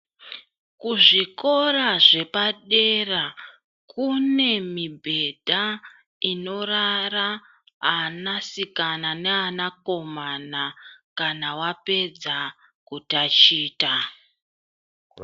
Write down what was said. Kuzvikora zvepadera, kune mibhedha, inorara anasikana neanakomana kana wapedza kutachita.